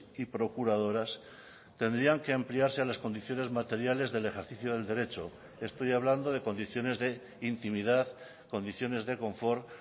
y procuradoras tendrían que ampliarse a las condiciones materiales del ejercicio del derecho estoy hablando de condiciones de intimidad condiciones de confort